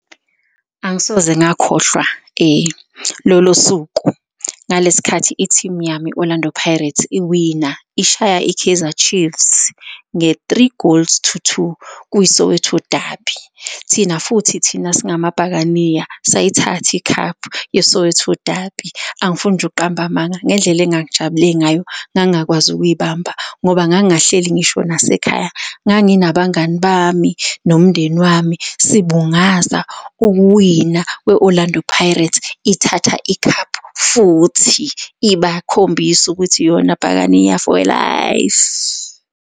Angisoze ngakhohlwa lolo suku ngalesikhathi i-team yami i-Orlando Pirates iwina ishaya i-Kaizer Chiefs nge-three goals to two kwi Soweto Derby. Thina futhi thina singama bhakaniya sayithatha i-cup ye Soweto Derby. Angifuni nje ukuqamba amanga ngendlela engangijabule ngayo, ngangakwazi ukuy'bamba ngoba ngangahleli ngisho nase khaya, nganginabangani bami nomndeni wami sibungaza ukuwina kwe-Orlando Pirates ithatha i-cup futhi ibakhombisa ukuthi yona bhakaniya for life.